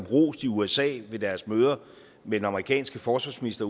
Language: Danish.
rost i usa ved deres møder med den amerikanske forsvarsminister